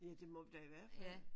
Ja det må vi da i hvert fald